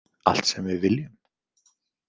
Allt sem við viljum?